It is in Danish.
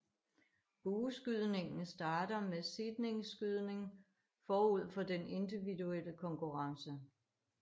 Bueskydningen starter med seedningsskydning forud for den individuelle konkurrence